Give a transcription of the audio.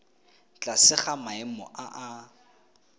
tlase ga maemo a a